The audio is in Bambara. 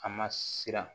A ma siran